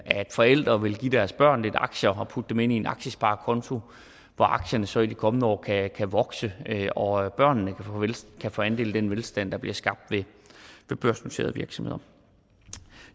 forældre vil give deres børn lidt aktier og putte dem ind i en aktiesparekonto hvor aktiernes værdi så i de kommende år kan vokse og børnene kan få andel i den velstand der bliver skabt ved børsnoterede virksomheder